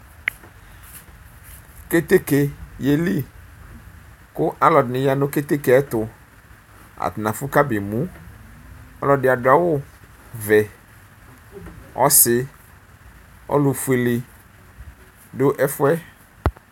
keteke yeli kʋ alʋ ɛdini yanʋ keteke yɛ ɛtʋ atani afʋ kabe mʋ ɔlʋ ɛdi adʋ awʋvɛ ɔsi ɔlʋfuele dʋ ɛfʋ yɛ